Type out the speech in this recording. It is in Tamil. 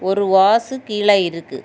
ஒரு வாசு கீழே இருக்கு.